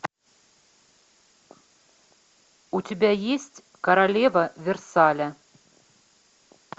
у тебя есть королева версаля